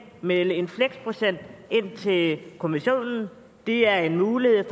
melde en fleksprocent ind til kommissionen det er en mulighed